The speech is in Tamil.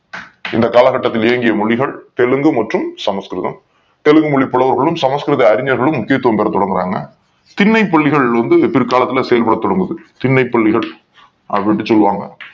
இந்த காலகட்டத்தில் இயங்கிய மொழிகள் தெலுங்கு மற்றும் சமஸ்கிருதம் தெலுங்கு மொழி புலவர்களும் சமஸ்கிருத அறிஞர்களும் முக்கியத்துவம் கொடுக்கப் படறாங்க திண்ணை பள்ளிகள் வந்து பிற்காலத்துல செயல்பட தொடங்குது அப்படின்னு சொல்றாங்க